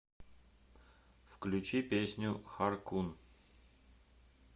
включи песню хар кун